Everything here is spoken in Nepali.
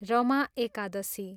रमा एकादशी